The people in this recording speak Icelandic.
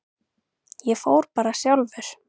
Ég fór bara sjálfur.